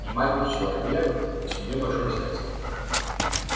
и маленький человек к себе большое сердце